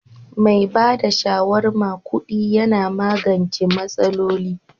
Mai ba da shawarma kudi Yana magance masaloli.